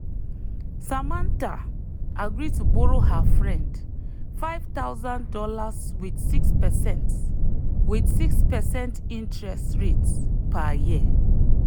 samantha agree to borrow her friend five thousand dollars with 6 percent with 6 percent interest rate per year.